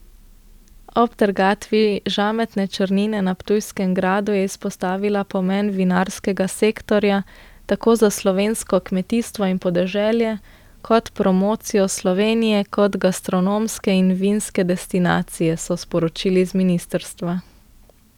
Ob trgatvi žametne črnine na Ptujskem gradu je izpostavila pomen vinarskega sektorja tako za slovensko kmetijstvo in podeželje kot promocijo Slovenije kot gastronomske in vinske destinacije, so sporočili z ministrstva.